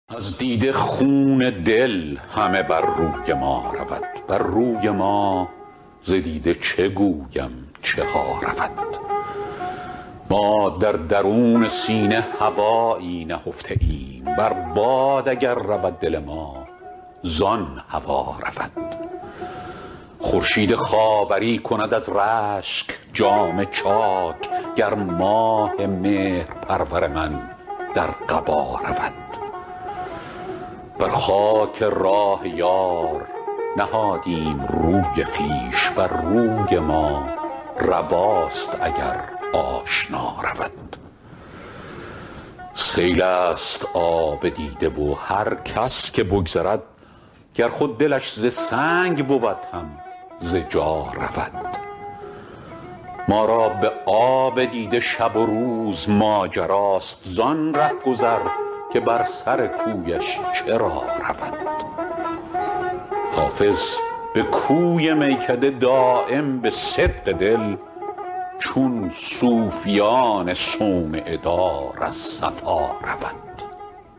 از دیده خون دل همه بر روی ما رود بر روی ما ز دیده چه گویم چه ها رود ما در درون سینه هوایی نهفته ایم بر باد اگر رود دل ما زان هوا رود خورشید خاوری کند از رشک جامه چاک گر ماه مهرپرور من در قبا رود بر خاک راه یار نهادیم روی خویش بر روی ما رواست اگر آشنا رود سیل است آب دیده و هر کس که بگذرد گر خود دلش ز سنگ بود هم ز جا رود ما را به آب دیده شب و روز ماجراست زان رهگذر که بر سر کویش چرا رود حافظ به کوی میکده دایم به صدق دل چون صوفیان صومعه دار از صفا رود